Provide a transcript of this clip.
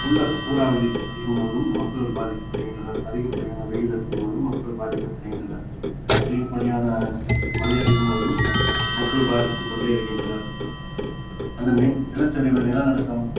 சூறாவளி அடிக்கும்போது மக்கள் பாதிக்கப்படுகின்றனர் அதிக படியான வெயில் அடிக்கும் போதும் மக்கள் பாதிக்கப்படுகின்றன அதிக படியான மழை அடிக்கும் போதும் மக்கள் பாதித்து கொண்டே இருக்கின்றனர் அந்த நி~ நிலச்சரிவு நிலநடுக்கம்